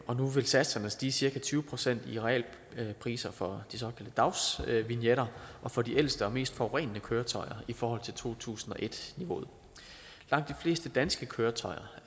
og nu vil satserne stige cirka tyve procent i realpriser for de såkaldte dagsvignetter og for de ældste og mest forurenende køretøjer i forhold til to tusind og et niveauet langt de fleste danske køretøjer